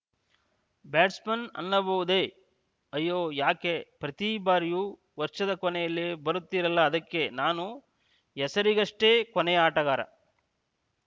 batsman ಅನ್ನಬಹುದೇ ಅಯ್ಯೋ ಯಾಕೆ ಪ್ರತಿ ಬಾರಿಯೂ ವರ್ಷದ ಕೊನೆಯಲ್ಲಿ ಬರುತ್ತೀರಲ್ಲ ಅದಕ್ಕೆ ನಾನು ಹೆಸರಿಗಷ್ಟೆಕೊನೆಯ ಆಟಗಾರ